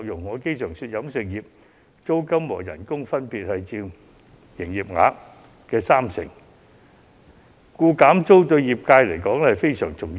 我常說租金和工資各佔飲食業營業額的三成，故此減租對業界來說非常重要。